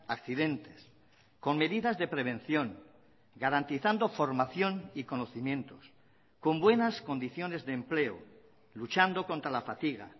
accidentes con medidas de prevención garantizando formación y conocimientos con buenas condiciones de empleo luchando contra la fatiga